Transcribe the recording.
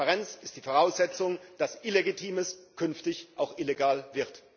Transparenz ist die Voraussetzung dafür, dass Illegitimes künftig auch illegal wird.